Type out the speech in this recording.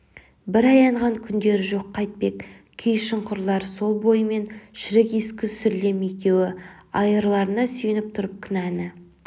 бір аянған күндері жоқ қайтпек кей шұңқырлар сол бойымен шірік-ескі сүрлем екеуі айырларына сүйеніп тұрып кінәні